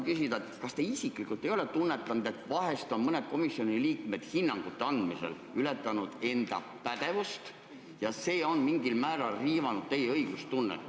Kas te isiklikult ei ole tunnetanud, et vahel on mõned komisjoni liikmed hinnangute andmisel ületanud enda pädevust ja see on mingil määral riivanud teie õigustunnet?